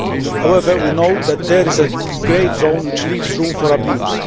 However, we know that there is a grey zone which leaves room for abuse.